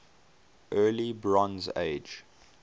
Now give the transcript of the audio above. early bronze age